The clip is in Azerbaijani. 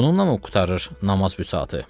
Bununla mı qurtarır namaz busatı?